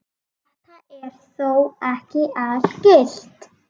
Þetta er þó ekki algilt.